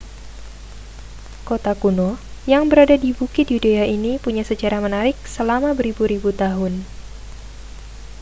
kota kuno yang berada di bukit yudea ini punya sejarah menarik selama beribu-ribu tahun